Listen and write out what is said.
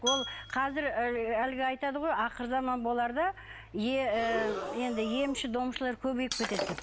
ол қазір ыыы әлгі айтады ғой ақырзаман боларда е ы енді емші домшылар көбейіп кетеді деп